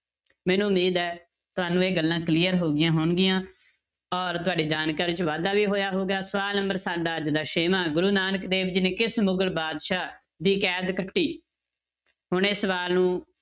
ਮੈਨੂੰ ਉਮੀਦ ਹੈ ਤੁਹਾਨੂੰ ਇਹ ਗੱਲਾਂ clear ਹੋ ਗਈਆਂ ਹੋਣਗੀਆਂ ਔਰ ਤੁਹਾਡੀ ਜਾਣਕਾਰੀ 'ਚ ਵਾਧਾ ਵੀ ਹੋਇਆ ਹੋਊਗਾ, ਸਵਾਲ number ਸਾਡਾ ਅੱਜ ਦਾ ਛੇਵਾਂ ਗੁਰੂ ਨਾਨਕ ਦੇਵ ਜੀ ਨੇ ਕਿਸ ਮੁਗ਼ਲ ਬਾਦਸ਼ਾਹ ਦੀ ਕੈਦ ਕੱਟੀ ਹੁਣ ਇਹ ਸਵਾਲ ਨੂੰ